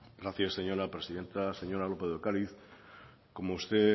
gracias señora presidenta señora lópez de ocariz como usted